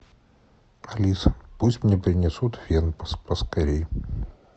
алиса пусть мне принесут фен поскорей